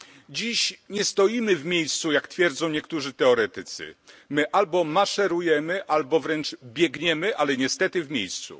Dziś nie stoimy w miejscu, jak twierdzą niektórzy teoretycy. My albo maszerujemy, albo wręcz biegniemy, ale niestety w miejscu.